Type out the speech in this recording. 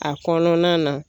A kɔnɔna na.